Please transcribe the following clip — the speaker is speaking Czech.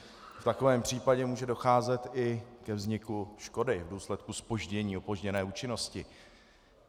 V takovém případě může docházet i ke vzniku škody v důsledku zpoždění, opožděné účinnosti.